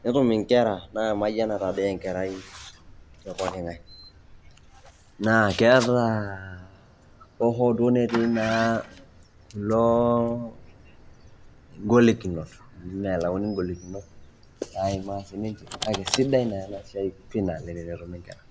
netum inkera emayianata doi enkerai tepokingae naa kias taa hoho netii naa ilo ingolikinot amu melayuni ingolikinot naima sininche kake sidai na ena siai pii tenetumi inkera.